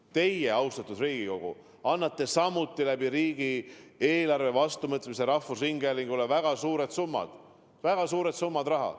Teie, austatud Riigikogu, annate samuti riigieelarve vastuvõtmise kaudu rahvusringhäälingule väga suured summad raha.